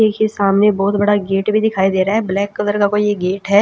एक ही सामने बहोत बड़ा गेट भी दिखाई दे रहा है ब्लैक कलर का कोई गेट है।